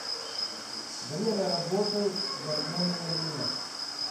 время работы гармония мед